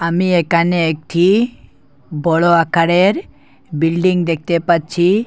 আমি এখানে একটি বড় আকারের বিল্ডিং দেখতে পাচ্ছি।